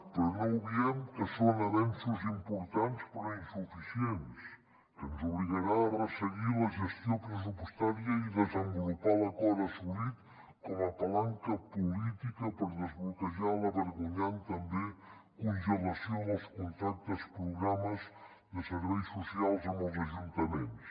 però no obviem que són avenços importants però insuficients que ens obligarà a resseguir la gestió pressupostària i desenvolupar l’acord assolit com a palanca política per desbloquejar la vergonyant també congelació dels contractes programes de serveis socials amb els ajuntaments